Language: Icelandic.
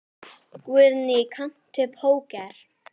Guðný: Kannt þú póker?